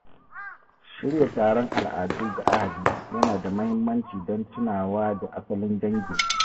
Shirya taron al’adu ga ahli ya na da muhimmanci dan tunawa da asalin dangin.